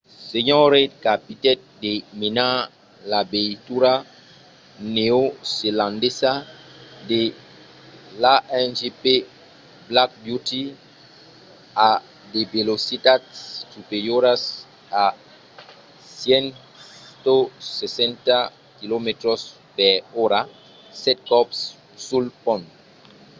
sr. reid capitèt de menar la veitura neozelandesa de l'a1gp black beauty a de velocitats superioras a 160km/h sèt còps sul pont